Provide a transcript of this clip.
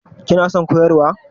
Kina son koyarwa?